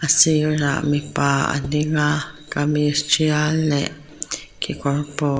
a sirah mipa a ding a kamis ṭial leh kekawr paw--